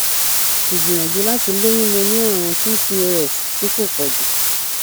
igbìyànjú láti lóyún mo ní àrùn pcos ti ko poju